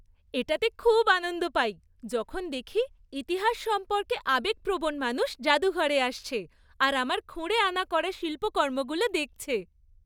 এটাতে খুব আনন্দ পাই যখন দেখি ইতিহাস সম্পর্কে আবেগপ্রবণ মানুষ জাদুঘরে আসছে আর আমার খুঁড়ে আনা করা শিল্পকর্মগুলো দেখছে।